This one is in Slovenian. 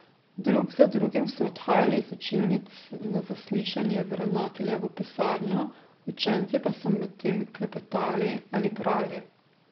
Drug za drugim so odhajali iz učilnic na zaslišanje v ravnateljevo pisarno, učenci pa so medtem klepetali ali brali.